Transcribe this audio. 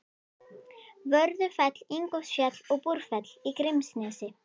Vörðufell, Ingólfsfjall og Búrfell í Grímsnesi.